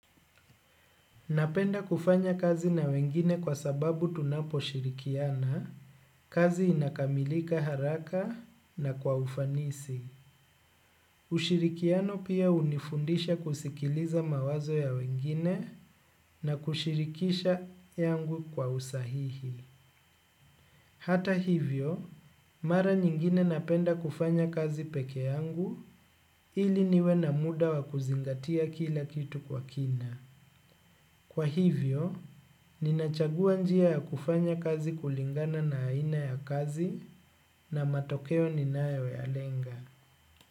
Napenda kufanya kazi na wengine kwa sababu tunapo shirikiana, kazi inakamilika haraka na kwa ufanisi. Ushirikiano pia unifundisha kusikiliza mawazo ya wengine na kushirikisha yangu kwa usahihi. Hata hivyo, mara nyingine napenda kufanya kazi peke yangu ili niwe na muda wa kuzingatia kila kitu kwa kina. Kwa hivyo, ninachagua njia ya kufanya kazi kulingana na aina ya kazi na matokeo ninayo ya lenga.